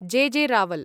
जॆ. J. Rawal